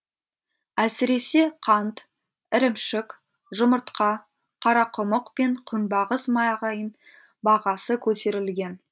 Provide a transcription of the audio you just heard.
әсіресе қант ірімшік жұмыртқа қарақұмық пен күнбағыс майғының бағасы көтерілген